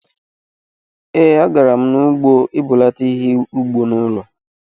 Ee, a garam n'ugbo ibulata ihe-ubi n'ụlọ